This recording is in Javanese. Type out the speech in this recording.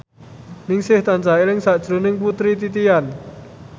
Ningsih tansah eling sakjroning Putri Titian